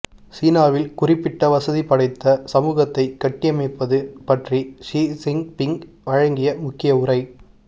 சீனாவில் குறிப்பிட்ட வசதி படைத்த சமூகத்தைக் கட்டியமைப்பது பற்றி ஷி ச்சின்பீங் வழங்கிய முக்கிய உரை